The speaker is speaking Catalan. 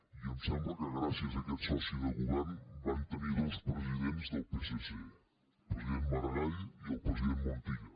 i em sembla que gràcies a aquest soci de govern van tenir dos presidents del psc el president maragall i el president montilla